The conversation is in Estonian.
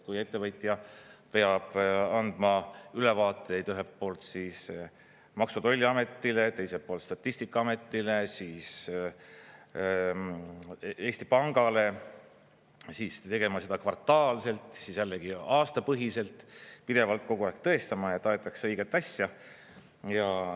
Kui ettevõtja peab andma ülevaateid ühelt poolt siis Maksu‑ ja Tolliametile, teiselt poolt Statistikaametile, siis Eesti Pangale, siis tegema seda kvartaalselt, siis jällegi aastapõhiselt, pidevalt kogu aeg tõestama, et aetakse õiget asja.